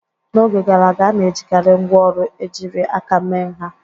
N'oge gara aga, a na-ejikarị ngwaọrụ ejiri aka mee nha.